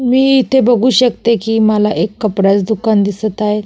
मी इथे बघू शकते कि मला एक कपड्याच दुकान दिसत आहे.